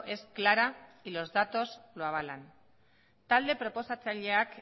es clara y los datos lo avalan talde proposatzaileak